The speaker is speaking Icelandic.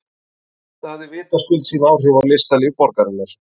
Þetta hafði vitaskuld sín áhrif á listalíf borgarinnar.